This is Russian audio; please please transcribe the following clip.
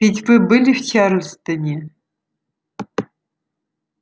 ведь вы были в чарльстоне